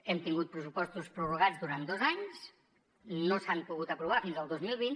hem tingut pressupostos prorrogats durant dos anys no s’han pogut aprovar fins al dos mil vint